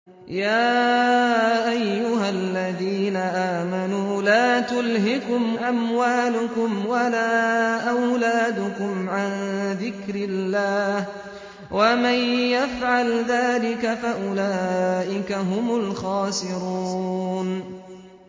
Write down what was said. يَا أَيُّهَا الَّذِينَ آمَنُوا لَا تُلْهِكُمْ أَمْوَالُكُمْ وَلَا أَوْلَادُكُمْ عَن ذِكْرِ اللَّهِ ۚ وَمَن يَفْعَلْ ذَٰلِكَ فَأُولَٰئِكَ هُمُ الْخَاسِرُونَ